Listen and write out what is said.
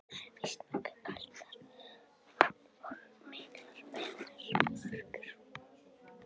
Það er víst nokkuð kalt þar og miklar vetrarhörkur.